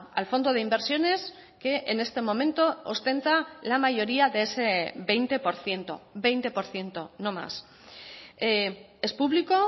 al fondo de inversiones que en este momento ostenta la mayoría de ese veinte por ciento veinte por ciento no más es público